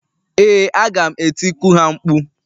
Ee, aga m etiku ha mkpu.